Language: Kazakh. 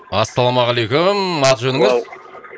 ассалаумағалейкум аты жөніңіз